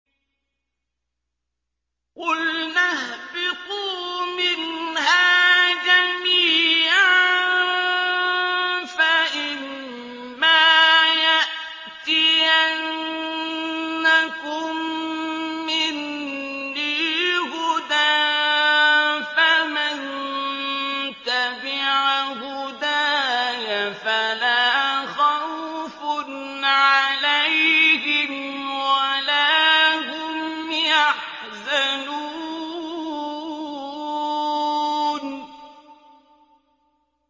قُلْنَا اهْبِطُوا مِنْهَا جَمِيعًا ۖ فَإِمَّا يَأْتِيَنَّكُم مِّنِّي هُدًى فَمَن تَبِعَ هُدَايَ فَلَا خَوْفٌ عَلَيْهِمْ وَلَا هُمْ يَحْزَنُونَ